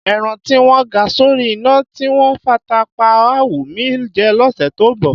Ẹran tí wọ́n ga sórí iná, tí wọ́n fata pá á wù mí jẹ lọ́sẹ̀ tó ń bọ̀.